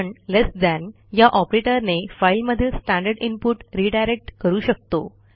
आपण less than या ऑपरेटरने फाईलमधील स्टँडर्ड इनपुट रिडायरेक्ट करू शकतो